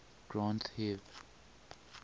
granth hib